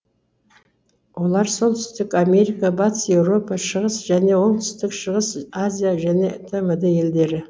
олар солтүстік америка батыс еуропа шығыс және оңтүстік шығыс азия және тмд елдері